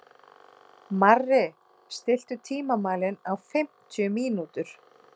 Marri, stilltu tímamælinn á fimmtíu mínútur.